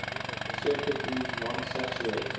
circuit used non saturated